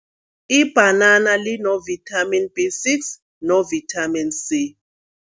Ibhanana lino-Vitamin B six no-Vitamin C.